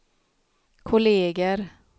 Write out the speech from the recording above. kolleger